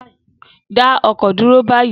Dá ọkọ̀ dúró báyìí